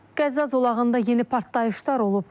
Qəzza zolağında yeni partlayışlar olub.